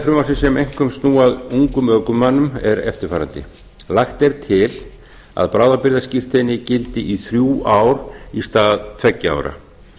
frumvarpsins sem einkum snúa að ungum ökumönnum eru eftirfarandi lagt er til að bráðabirgðaskírteini gildi í þrjú ár í stað tveggja ára